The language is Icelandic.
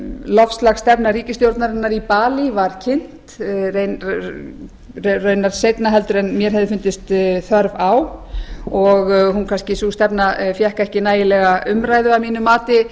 loftslagsstefna ríkisstjórnarinnar í balí var kynnt raunar seinna en mér hefði fundist þörf á og sú stefna fékk ekki nægilega umræðu að mínu mati